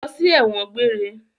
Lọ sí ẹ̀wọ̀n gbére!